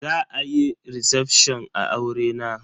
Za a yi recefshon a aurena.